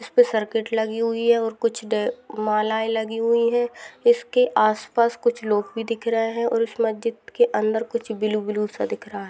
Circuit लगी हुई है कुछ माला लगी हुई है इसके आस पास कुछ लोग भी दिख रहे है और इस मस्जिद के अंदर कुछ ब्लू ब्लू सा भी दिख रहा है।